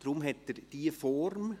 Deshalb hat er diese Form.